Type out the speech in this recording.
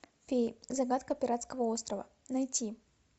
феи загадка пиратского острова найти